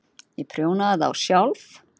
Ég prjónaði þá sjálf.